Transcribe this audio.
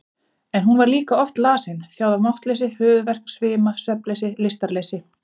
En hún var líka oft lasin, þjáð af máttleysi, höfuðverk, svima, svefnleysi, lystarleysi.